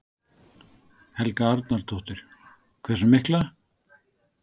Helga Arnardóttir: Hversu mikla?